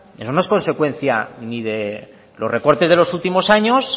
eso no es consecuencia ni de los recortes de los últimos años